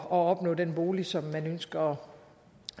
at opnå den bolig som man ønskede